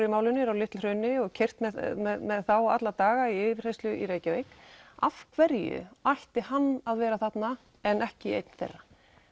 í málinu eru á Litla hrauni og keyrt með þá alla daga í yfirheyrslu í Reykjavík af hverju ætti hann að vera þarna en ekki einn þeirra